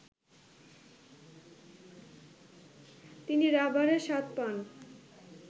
তিনি রাবারের স্বাদ পান